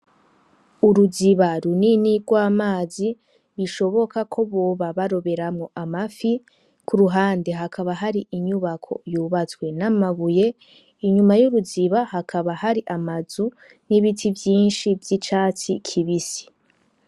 Uruziba runini rw'amazi bishoboka ko boba baroberamwo amafi, ku ruhande hakaba hari inyubako yubatswe n'amabuye, inyuma y'uruziba hakaba hari amazu n'ibiti vyinshi vy'icatsi kibisi.